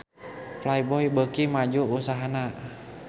Playboy beuki maju usahana